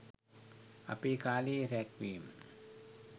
අපේ කාලේ රැග් වීම